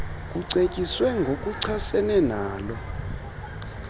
kucetyiswe ngokuchasene nalo